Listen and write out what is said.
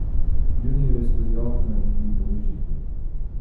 Pljunil je skozi okno in mi pomežiknil.